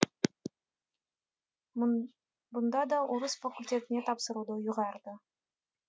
мұнда да орыс факультетіне тапсыруды ұйғарды